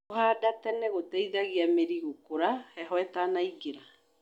Kũhanda tene gũteithagia mĩri gũkũra heho ĩtanaingĩra.